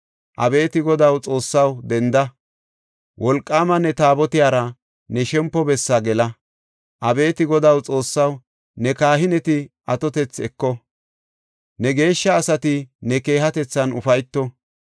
“Abeeti Godaw, Xoossaw, denda; wolqaama ne Taabotiyara ne shempo bessaa gela. Abeeti Godaw, Xoossaw, ne kahineti atotethi eko; ne geeshsha asati ne keehatethan ufayto.